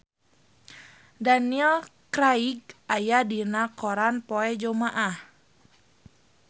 Daniel Craig aya dina koran poe Jumaah